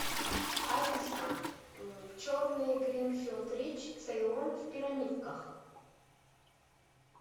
алиса черный гринфилд рич цейлон в пирамидках